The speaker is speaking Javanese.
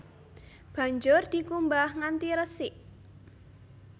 Banjur dikumbah nganti resik